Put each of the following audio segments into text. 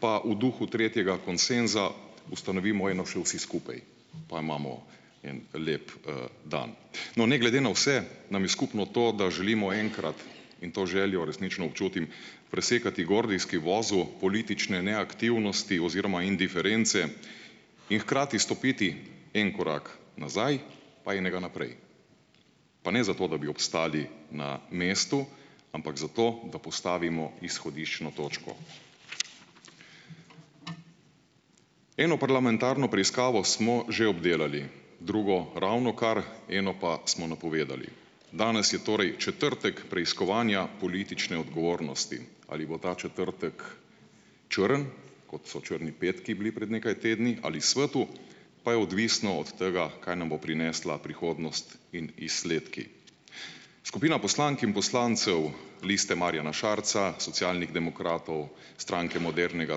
pa v duhu tretjega konsenza ustanovimo eno še vsi skupaj, pa imamo en lep dan. No, ne glede na vse, nam je skupno to, da želimo enkrat, in to željo resnično občutim, presekati gordijski vozel politične neaktivnosti oziroma indiference in hkrati stopiti en korak nazaj pa enega naprej. Pa ne zato, da bi obstali na mestu, ampak zato, da postavimo izhodiščno točko. Eno parlamentarno preiskavo smo že obdelali, drugo ravnokar, eno pa smo napovedali. Danes je torej četrtek preiskovanja politične odgovornosti. Ali bo ta četrtek črn, kot so črni petki bili pred nekaj tedni, ali svetel pa je odvisno od tega, kaj nam bo prinesla prihodnost in izsledki. Skupina poslank in poslancev Liste Marjana Šarca, Socialnih demokratov, Stranke modernega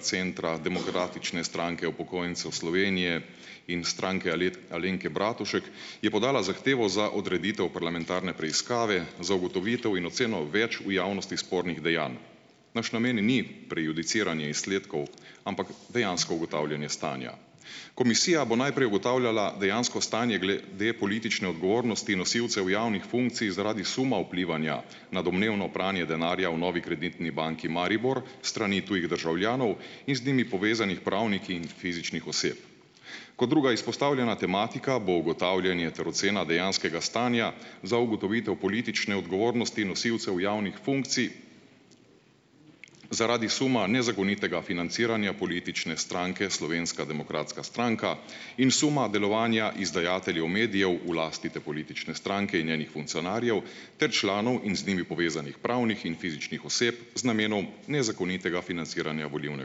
centra, Demokratične stranke upokojencev Slovenije in Stranke Alenke Bratušek je podala zahtevo za odreditev parlamentarne preiskave za ugotovitev in oceno več v javnosti spornih dejanj. Naš namen ni prejudiciranje izsledkov, ampak dejansko ugotavljanje stanja. Komisija bo najprej ugotavljala dejansko stanje glede politične odgovornosti nosilcev javnih funkcij zaradi suma vplivanja na domnevno pranje denarja v Novi Kreditni banki Maribor s strani tujih državljanov in z njimi povezanih pravnih in fizičnih oseb. Kot druga izpostavljena tematika bo ugotavljanje ter ocena dejanskega stanja za ugotovitev politične odgovornosti nosilcev javnih funkcij zaradi suma nezakonitega financiranja politične stranke Slovenska demokratska stranka in suma delovanja izdajateljev medijev v lasti te politične stranke in njenih funkcionarjev ter članov in z njimi povezanih pravnih in fizičnih oseb z namenom nezakonitega financiranja volilne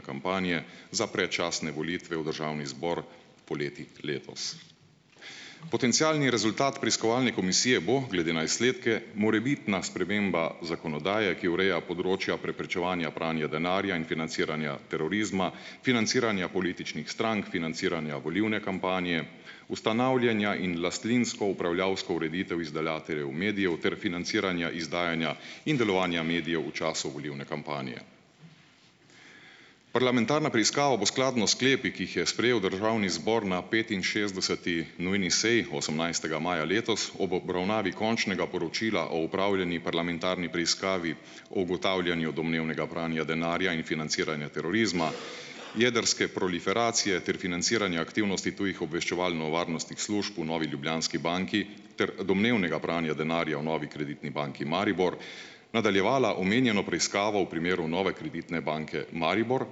kampanje za predčasne volitve v Državni zbor poleti letos. Potencialni rezultat preiskovalne komisije bo, glede na izsledke, morebitna sprememba zakonodaje, ki ureja področja preprečevanja pranja denarja in financiranja terorizma, financiranja političnih strank, financiranja volilne kampanje, ustanavljanja in lastninsko-upravljavsko ureditev izdajateljev medijev ter financiranja izdajanja in delovanja medijev v času volilne kampanje. Parlamentarna preiskava bo skladno s sklepi, ki jih je sprejel Državni zbor na petinšestdeseti nujni seji osemnajstega maja letos ob obravnavi končnega poročila o opravljeni parlamentarni preiskavi o ugotavljanju domnevnega pranja denarja in financiranja terorizma, jedrske proliferacije ter financiranja aktivnosti tujih obveščevalno-varnostnih služb v Novi Ljubljanski banki ter domnevnega pranja denarja v Novi Kreditni banki Maribor, nadaljevala omenjeno preiskavo v primeru Nove Kreditne banke Maribor,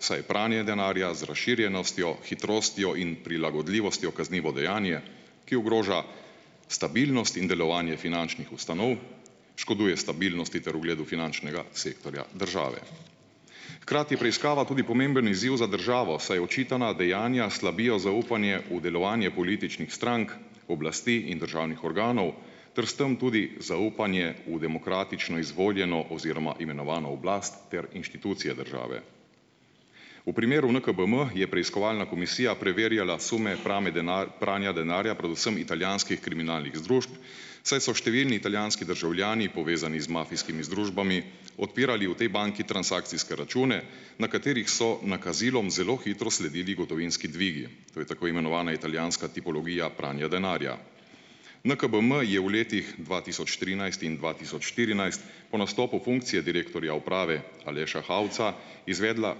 saj je pranje denarja z razširjenostjo, hitrostjo in prilagodljivostjo kaznivo dejanje, ki ogroža stabilnost in delovanje finančnih ustanov, škoduje stabilnosti ter ugledu finančnega sektorja države. Hkrati je preiskava tudi pomemben izziv za državo, saj očitana dejanja slabijo zaupanje v delovanje političnih strank, oblasti in državnih organov ter s tam tudi zaupanje v demokratično izvoljeno oziroma imenovano oblast ter inštitucije države. V primeru NKBM je preiskovalna komisija preverjala sume prame pranja denarja predvsem italijanskih kriminalnih združb, saj so številni italijanski državljani, povezani z mafijskimi združbami, odpirali v tej banki transakcijske račune, na katerih so nakazilom zelo hitro sledili gotovinski dvigi. To je tako imenovana italijanska tipologija pranja denarja. NKBM je v letih dva tisoč trinajst in dva tisoč štirinajst po nastopu funkcije direktorja uprave Aleša Hauca izvedla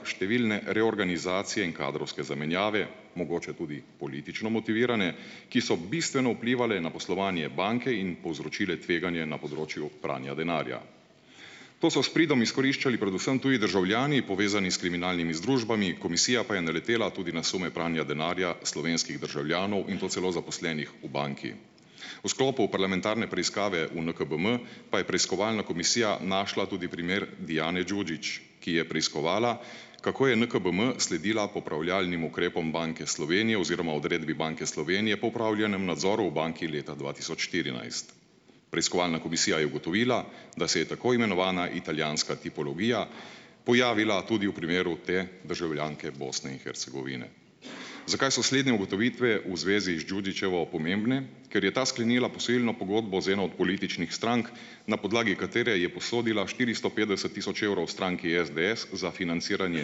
številne reorganizacije in kadrovske zamenjave, mogoče tudi politično motivirane, ki so bistveno vplivale na poslovanje banke in povzročile tveganje na področju pranja denarja. To so s pridom izkoriščali predvsem tudi državljani, povezani s kriminalnimi združbami, komisija pa je naletela tudi na sume pranja denarja slovenskih državljanov in to celo zaposlenih v banki. V sklopu parlamentarne preiskave v NKBM, pa je preiskovalna komisija našla tudi primer Dijane Đuđić, ki je preiskovala, kako je NKBM sledila popravljalnim ukrepom Banke Slovenije oziroma odredbi Banke Slovenije po opravljenem nadzoru v banki leta dva tisoč štirinajst. Preiskovalna komisija je ugotovila, da se je tako imenovana italijanska tipologija pojavila tudi v primeru te državljanke Bosne in Hercegovine. Zakaj so sledne ugotovitve v zvezi z Đuđićevo pomembne? Ker je ta sklenila posojilno pogodbo z eno od političnih strank, na podlagi katere je posodila štiristo petdeset tisoč evrov stranki SDS za financiranje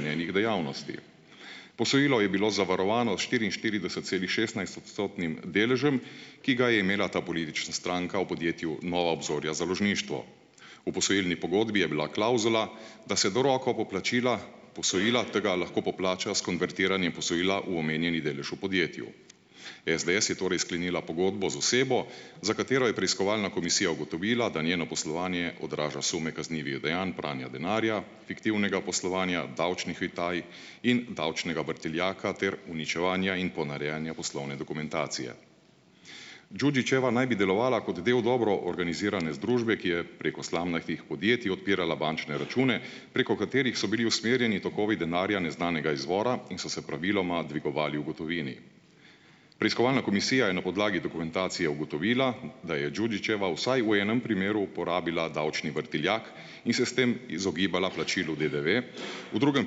njenih dejavnosti. Posojilo je bilo zavarovano s štiriinštiridesetcelihšestnajstodstotnim deležem, ki ga je imela ta politična stranka v podjetju Nova Obzorja založništvo. V posojilni pogodbi je bila klavzula, da se do rokov poplačila posojila tega lahko poplača s konvertiranjem posojila v omenjeni delež v podjetju. SDS je torej sklenila pogodbo z osebo, za katero je preiskovalna komisija ugotovila, da njeno poslovanje odraža sume kaznivih dejanj pranja denarja, fiktivnega poslovanja, davčnih utaj in davčnega vrtiljaka ter uničevanja in ponarejanja poslovne dokumentacije. Đuđićeva naj bi delovala kot del dobro organizirane združbe, ki je preko slamnatih podjetij odpirala bančne račune, preko katerih so bili usmerjeni tokovi denarja neznanega izvora in so se praviloma dvigovali v gotovini. Preiskovalna komisija je na podlagi dokumentacije ugotovila, da je Đuđićeva vsaj v enem primeru uporabila davčni vrtiljak in se s tem izogibala plačilu DDV, v drugem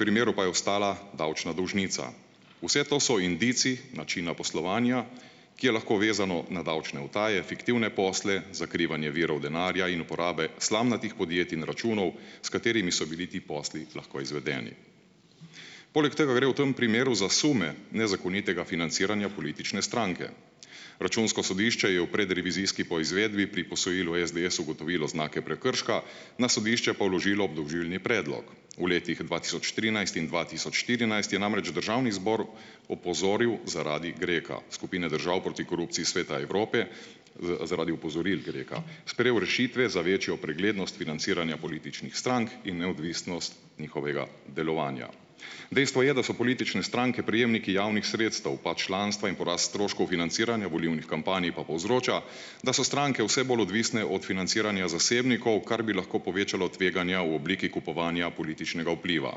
primeru pa je ostala davčna dolžnica. Vse to so indici načina poslovanja, ki je lahko vezano na davčne utaje, fiktivne posle, zakrivanje virov denarja in uporabe slamnatih podjetij in računov, s katerimi so bili ti posli lahko izvedeni. Poleg tega gre v tem primeru za sume nezakonitega financiranja politične stranke. Računsko sodišče je v predrevizijski poizvedbi pri posojilu SDS ugotovilo znake prekrška, na sodišče pa vložilo obdolžilni predlog. V letih dva tisoč trinajst in dva tisoč štirinajst je namreč Državni zbor opozoril zaradi GREK-a, skupine držav proti korupciji Sveta Evrope, zaradi opozoril GREK-a sprejel rešitve za večjo preglednost financiranja političnih strank in neodvisnost njihovega delovanja. Dejstvo je, da so politične stranke prejemniki javnih sredstev, pa članstva, in porast stroškov financiranja volilnih kampanj pa povzroča, da so stranke vse bolj odvisne od financiranja zasebnikov, kar bi lahko povečalo tveganja v obliki kupovanja političnega vpliva.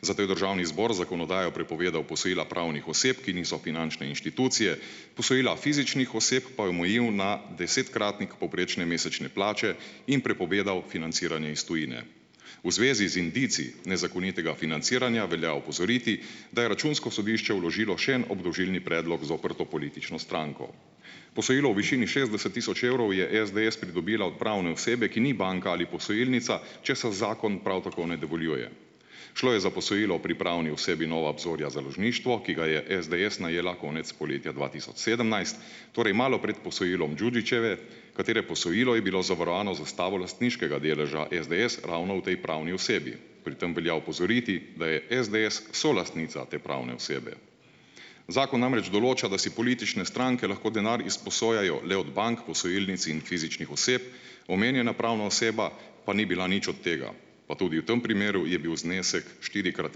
Zato je Državni zbor z zakonodajo prepovedal posojila pravnih oseb, ki niso finančne inštitucije, posojila fizičnih oseb pa je omejil na desetkratnik povprečne mesečne plače in prepovedal financiranje iz tujine. V zvezi z indici nezakonitega financiranja velja opozoriti, da je Računsko sodišče vložilo še en obdolžilni predlog zoper to politično stranko. Posojilo v višini šestdeset tisoč evrov je SDS pridobila od pravne osebe, ki ni banka ali posojilnica, česar zakon prav tako ne dovoljuje. Šlo je za posojilo o pripravni osebi Nova obzorja založništvo, ki ga je SDS najela konec poletja dva tisoč sedemnajst, torej malo prej posojilom Đuđićeve, katere posojilo je bilo zavarovano z zastavo lastniškega deleža SDS ravno o tej pravni osebi. Pri tem velja opozoriti, da je SDS solastnica te pravne osebe. Zakon namreč določa, da si politične stranke lahko denar izposojajo le od bank, posojilnic in fizičnih oseb, omenjena pravna oseba pa ni bila nič od tega, pa tudi v tem primeru je bil znesek štirikrat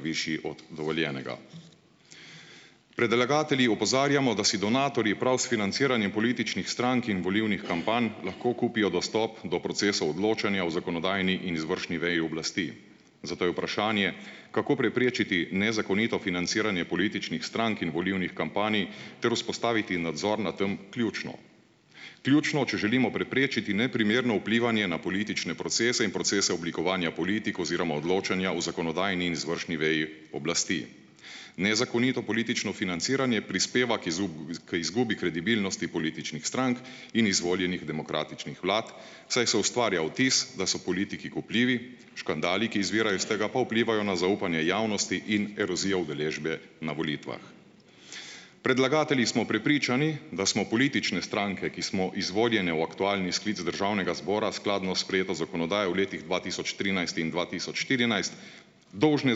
višji od dovoljenega. Predlagatelji opozarjamo, da si donatorji prav s financiranjem političnih strank in volilnih kampanj lahko kupijo dostop do procesa odločanja o zakonodajni in izvršni veji oblasti, zato je vprašanje kako preprečiti nezakonito financiranje političnih strank in volilnih kampanj ter vzpostaviti nadzor nad tem, ključno. Ključno, če želimo preprečiti neprimerno vplivanje na politične procese in procese oblikovanja politik oziroma odločanja o zakonodajni in izvršni veji oblasti. Nezakonito politično financiranje prispeva k k izgubi kredibilnosti političnih strank in izvoljenih demokratičnih vlad, saj se ustvarja vtis, da so politiki kupljivi, škandali, ki izvirajo iz tega, pa vplivajo na zaupanje javnosti in erozijo udeležbe na volitvah. Predlagatelji smo prepričani, da smo politične stranke, ki smo izvoljene v aktualni sklic Državnega zbora, skladno s sprejeto zakonodajo v letih dva tisoč trinajst in dva tisoč štirinajst, dolžne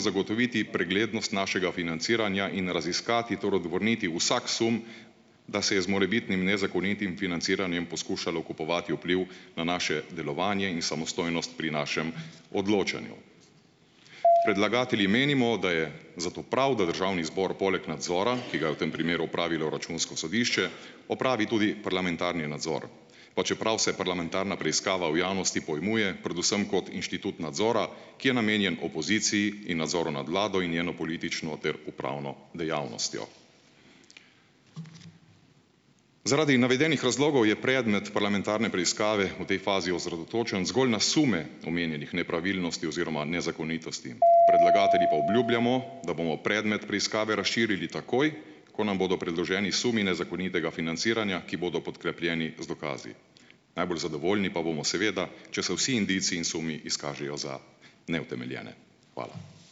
zagotoviti preglednost našega financiranja in raziskati ter odvrniti vsak sum, da se je z morebitnim nezakonitim financiranjem poskušalo kupovati vpliv na naše delovanje in samostojnost pri našem odločanju. Predlagatelji menimo, da je zato prav, da Državni zbor poleg nadzora, ki ga je v tem primeru opravilo Računsko sodišče, opravi tudi parlamentarni nadzor, pa čeprav se parlamentarna preiskava v javnosti pojmuje predvsem kot inštitut nadzora, ki je namenjen opoziciji in nadzoru nad Vlado in njeno politično ter upravno dejavnostjo. Zaradi navedenih razlogov je predmet parlamentarne preiskave v tej fazi osredotočen zgolj na sume omenjenih nepravilnosti oziroma nezakonitosti, predlagatelji pa obljubljamo, da bomo predmet preiskave razširili takoj, ko nam bodo predloženi sumi nezakonitega financiranja, ki bodo podkrepljeni z dokazi. Najbolj zadovoljni pa bomo seveda, če se vsi indici in sumi izkažejo za neutemeljene. Hvala.